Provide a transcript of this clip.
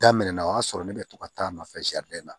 Daminɛna o y'a sɔrɔ ne bɛ to ka taa a nɔfɛ na